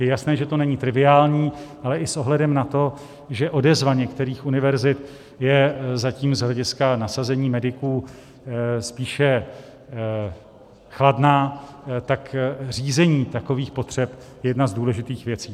Je jasné, že to není triviální, ale i s ohledem na to, že odezva některých univerzit je zatím z hlediska nasazení mediků spíše chladná, tak řízení takových potřeb je jedna z důležitých věcí.